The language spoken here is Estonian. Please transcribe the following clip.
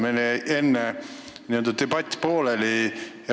Meil jäi enne debatt pooleli.